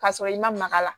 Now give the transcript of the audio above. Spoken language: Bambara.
K'a sɔrɔ i ma maga la